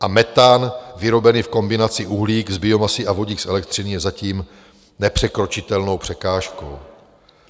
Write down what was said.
A metan vyrobený v kombinaci uhlík z biomasy a vodík z elektřiny je zatím nepřekročitelnou překážkou.